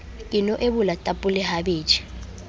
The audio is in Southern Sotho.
ke no ebola tapole habedi